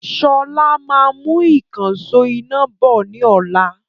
Sọlá máa mú ìkansò iná bọ̀ ni ọ̀la